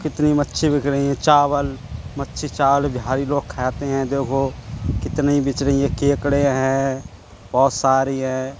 कितनी मच्छी बिक रहीं हैं। चावल मच्छी चावल बिहारी लोग खाते हैं। देखो कितनी बिच रही हैं। केकड़े हैं बहोत सारी हैं।